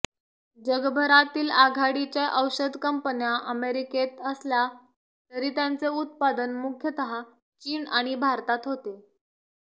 जगभरातील आघाडीच्या औषध कंपन्या अमेरिकेत असल्या तरी त्यांचे उत्पादन मुख्यतः चीन आणि भारतात होते